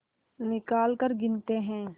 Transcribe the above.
निकालकर गिनते हैं